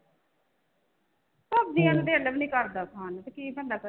ਸਬਜ਼ੀਆਂ ਨੂੰ ਦਿਲ ਵੀ ਨੀ ਕਰਦਾ ਖਾਣ ਨੂੰ ਤੇ ਕੀ ਬੰਦਾ ਕਰੇ